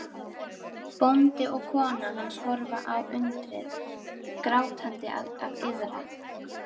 Bóndi og kona hans horfa á undrið, grátandi af iðran.